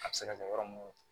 A bɛ se ka kɛ yɔrɔ mun